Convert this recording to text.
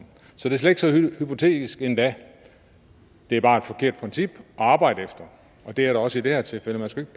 hypotetisk endda det er bare et forkert princip at arbejde efter og det er det også i det her tilfælde man skal